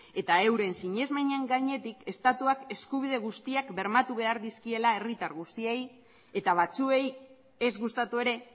eta euren sinesmen gainetik estatuak eskubide guztiak bermatu behar dizkiela herritar guztiei eta batzuei ez gustatu ere